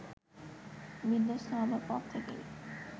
বিধ্বস্ত হবার পর থেকেই